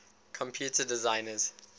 computer designers